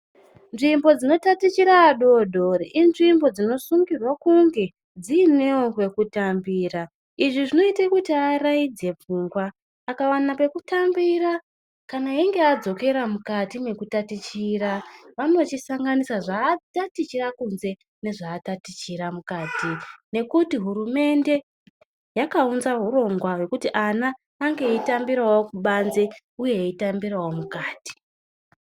Nzvimbo dzinotachitira adoodore inzvimbo dzinosungirwa kunge dziinewo kwekutambira. Izvi zvinoite kuti avaraidze pfungwa. Akawana pekutambira, kana eyinge adzokera mukati mekutachitira, vanochisanganisa zvaatachitira kunze nezvaatachitira mukati ngekuti hurumende yakaunza urongwa hwekuti ana ange achitambirawo kubanze uye eyitambirawo mukati.